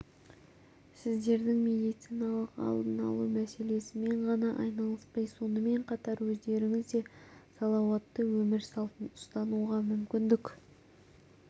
сіздердің медициналық алдын алу мәселесімен ғана айналыспай сонымен қатар өздеріңіз де салауатты өмір салтын ұстануға мүмкіндік